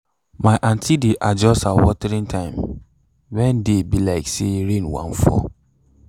my aunty dey adjust her watering time when day be like say rain wan fall